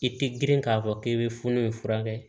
I tɛ girin k'a fɔ k'i bɛ funun furakɛ